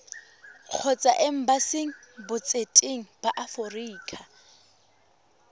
kgotsa embasing botseteng ba aforika